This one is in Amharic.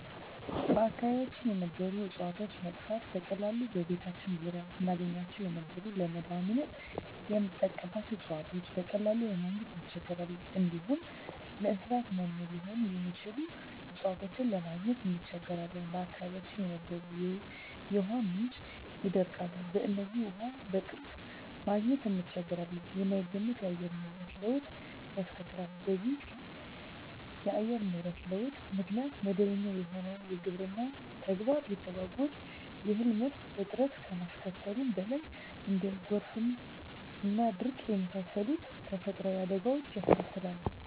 በአካባቢያችን የነበሩ እጽዋቶች መጥፋት፤ በቀላሉ በቤታችን ዙሪያ እናገኛቸው የነበሩ ለመዳኒትነት ምንጠቀምባቸው እጽዋቶችን በቀላሉ ለማግኝ እንቸገራለን፣ እንዲሁም ለእንሰሳት መኖ ሊሆኑ የሚችሉ እጽዋትን ለማግኘት እንቸገራለን፣ በአካባቢያችን የነበሩ የውሃ ምንጮች ይደርቃሉ በዚህም ውሃ በቅርብ ማግኘት እንቸገራለን፣ የማይገመት የአየር ንብረት ለውጥ ያስከትላል በዚህም ኢተገማች የአየር ንብረት ለውጥ ምክንያት መደበኛ የሆነው የግብርና ተግባር ይተጓጎላል የእህል ምርት እጥረት ከማስከተሉም በላይ እንደ ጎርፍና ድርቅ የመሳሰሉ ተፈጥሮአዊ አደጋወችንም ያስከትላል።